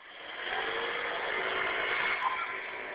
Svo hafa þeir níu líf.